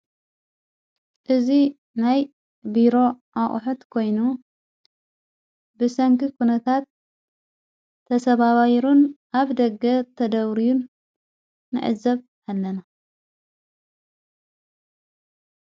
እዙይ ናይ ቢሮ ኣኦሑት ኮይኑ ብሰንኪ ኩነታት ተሰብባሩን ኣብ ደገ ተደውርዩን ነዕዘብ ሃለና።